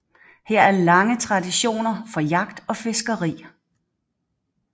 Her er lange traditioner for jagt og fiskeri